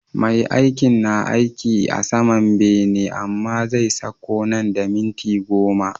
Me aikin, na aiki a saman bene amma zai sakko nan da minti goma